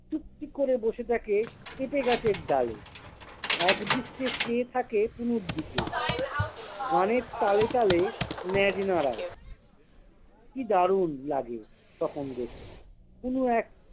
চুপটি করে বসে দেখে পেঁপে গাছের ডালে। এক দৃষ্টে চেয়ে থাকে কুনুর দিকে। গানের তালে তালে ল্যাজ নারায়। কি দানুর লাগে তখন দেখতে! কুনো এক